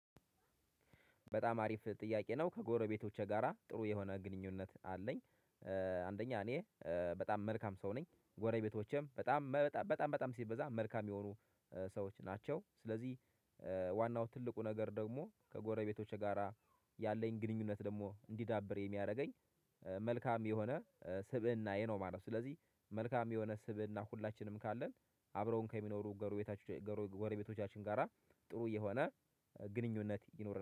በጣም አሪፍ ጥያቄ ነው። ከጎረቤቶቼ ጋራ ጥሩ የሆነ ግንኙነት አለኝ። አንደኛ እኔ በጣም መልካም ሰው ነኝ፤ ጎረቤቶቼም በጣም በጣም በጣም ሲበዛ መልካም የሆኑ ሰዎች ናቸው። ስለዚህ ዋናው ትልቁ ነገር ደግሞ ከጎረቤቶቼ ጋራ ያለኝ ግንኙነት ደግሞ እንዲዳብር የሚያደርገኝ መልካም የሆነ ስብእናዬ ነው ማለት ነው። ስለዚህ መልካም የሆነ ስብእና ሁላችንም ካለን አብረውን ከሚኖሩ ጎረቤታችን ጎረቤቶቻችን ጋራ ጥሩ የሆነ ግንኙነት ይኖር